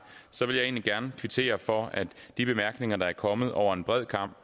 vil jeg egentlig gerne kvittere for de bemærkninger der er kommet over en bred kam